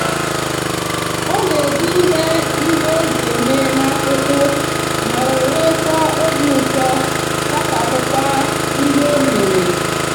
o n'ede ihe ndi oga eme n'akwukwu ma were kwa obiuto kachapukwa ndi omere